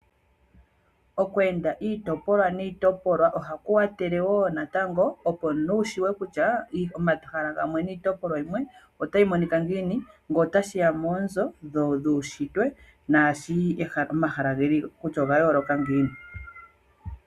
Okweenda iitopolwa niitopolwa, ohaku wathele wo natango opo omuntu wushuwe kutya omahala gamwe niitopolwa yimwe otayi monika ngiini, nge tashiya moonzo dhuunshitwe naashi omahala kutya ogayooloka ngiini.